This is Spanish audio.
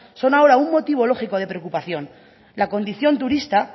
son ahora un motivo lógico de preocupación la condición turista